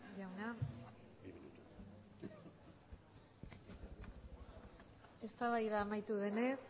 jauna eztabaida amaitu denez